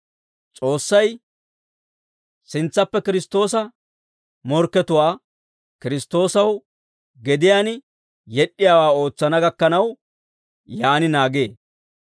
S'oossay sintsappe Kiristtoosa morkkatuwaa Kiristtoosaw gediyaan yed'd'iyaawaa ootsana gakkanaw, yaan naagee.